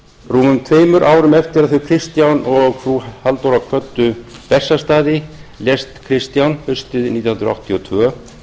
rúmum tveimur árum eftir að þau kristján og frú halldóra kvöddu bessastaði lést kristján haustið nítján hundruð áttatíu og tvö